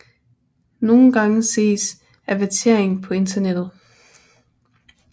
Nogle gange ses avertering på internettet